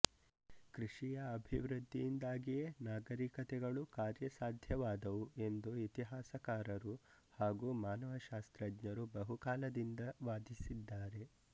ಕೃಷಿಯ ಅಭಿವೃದ್ಧಿಯಿಂದಾಗಿಯೇ ನಾಗರಿಕತೆಗಳು ಕಾರ್ಯಸಾಧ್ಯವಾದವು ಎಂದು ಇತಿಹಾಸಕಾರರು ಹಾಗೂ ಮಾನವಶಾಸ್ತ್ರಜ್ಞರು ಬಹುಕಾಲದಿಂದ ವಾದಿಸಿದ್ದಾರೆ